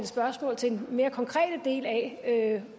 spørgsmål til den mere konkrete del af